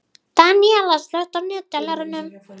Daníella, slökktu á niðurteljaranum.